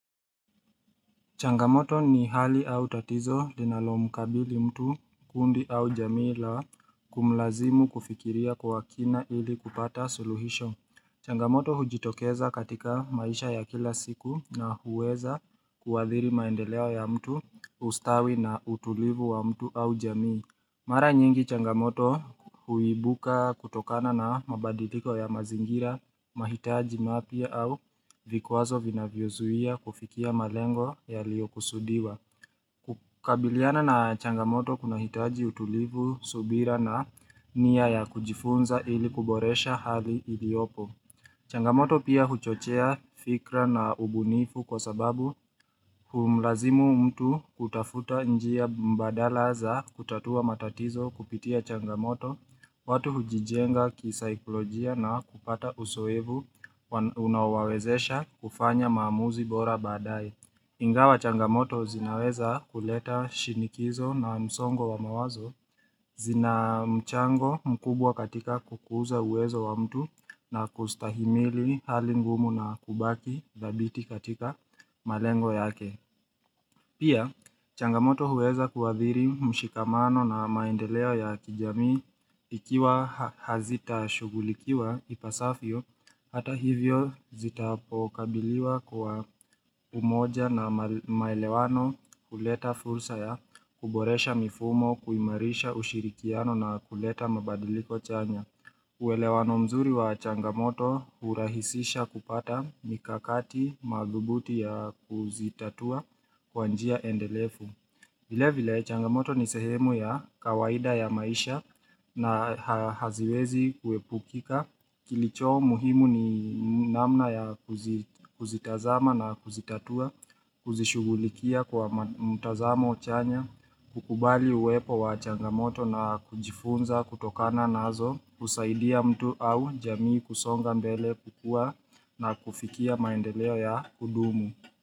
Changamoto ni hali au tatizo linalo mkabili mtu kundi au jamii la kumlazimu kufikiria kwa kina ili kupata suluhisho. Changamoto hujitokeza katika maisha ya kila siku na huweza kuadhiri maendeleo ya mtu ustawi na utulivu wa mtu au jamii. Mara nyingi changamoto huibuka kutokana na mabadiliko ya mazingira mahitaji mapya au vikwazo vinavyozuia kufikia malengo yalio kusudiwa. Kukabiliana na changamoto kuna hitaji utulivu subira na nia ya kujifunza ili kuboresha hali iliopo. Changamoto pia huchochea fikra na ubunifu kwa sababu humlazimu mtu kutafuta njia mbadala za kutatua matatizo kupitia changamoto, watu hujijenga kisaikolojia na kupata usoevu unawawezesha kufanya maamuzi bora badae. Ingawa changamoto zinaweza kuleta shinikizo na msongo wa mawazo, zina mchango mkubwa katika kukuza uwezo wa mtu na kustahimili hali ngumu na kubaki dhabiti katika malengo yake. Pia, changamoto huweza kuadhiri mshikamano na maendeleo ya kijamii ikiwa hazita shugulikiwa ipasavyo, hata hivyo zitapokabiliwa kwa umoja na maelewano kuleta fursa ya kuboresha mifumo, kuimarisha ushirikiano na kuleta mabadiliko chanya. Uelewano mzuri wa changamoto urahisisha kupata mikakati madhubuti ya kuzitatua kwanjia endelefu. Vile vile changamoto ni sehemu ya kawaida ya maisha na haziwezi kuepukika. Kilicho muhimu ni namna ya kuzitazama na kuzitatua, kuzishugulikia kwa mtazamo chanya, kukubali uwepo wa changamoto na kujifunza kutokana nazo husaidia mtu au jamii kusonga mbele kukua na kufikia maendeleo ya hudumu.